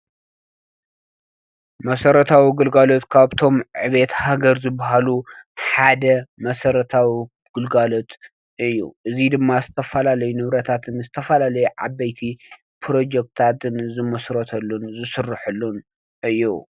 መሰረታዊ ግልጋሎት ኻብቶም ዕብየት ሃገር ዝበሃሉ ሓደ መሰረታዊ ግልጋሎት እዩ። እዚ ድማ ዝተፈላለዩ ንብረታትን ዝተፈላለዩ ዓበይቲ ፕሮጆክትታን ዝምስረተሉን ዝስረሐሉን እዩ።